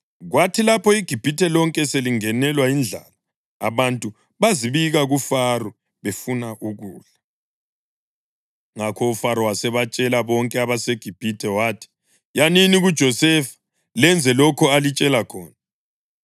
Kwathi lapho iGibhithe lonke selingenelwa yindlala abantu bazibika kuFaro befuna ukudla. Ngakho uFaro wasebatshela bonke abaseGibhithe wathi, “Yanini kuJosefa lenze lokho alitshela khona.”